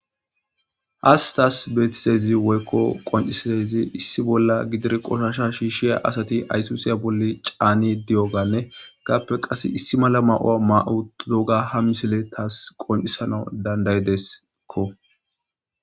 Has taas beetizezi woykko qonciseezi issi bolla gidir qoshasha shiishshiya asati aysusiya bolli caani di'oganne gaappe qasse issi mala ma'owa ma'u doga ha misile taas qoncisana dandaydeskko